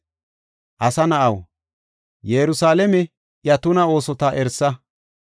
“Asa na7aw, Yerusalaame iya tuna oosota erisa.